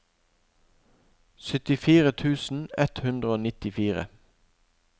syttifire tusen ett hundre og nittifire